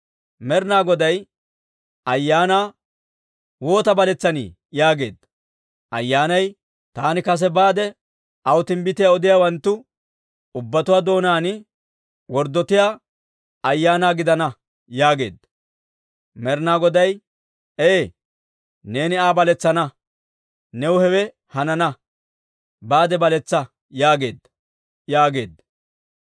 «Med'inaa Goday ayyaanaa, Woota baletsani? yaageedda. «Ayyaanay, ‹Taani kesa baade, aw timbbitiyaa odiyaawanttu ubbatuwaa doonaan worddotiyaa ayaana gidana› yaageedda. «Med'inaa Goday, ‹Ee, neeni Aa baletsana; new hewe hanana. Baade baletsa› yaageedda» yaageedda.